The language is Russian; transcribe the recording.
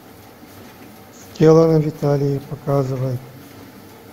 сделано в италии показывай